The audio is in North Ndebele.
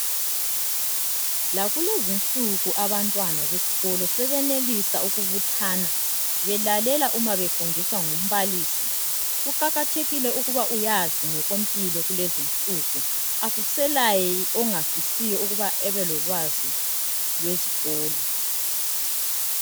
lakulezinsuku abantwana besikolo sebenelisa ukubuthana belalela uma befundiswa ngumbalisi kuqakathekile ukuba uyazi ngokwempilo kulezinsuku akuselaye ongafisiyo ukuba abe lolwazi lwezikolo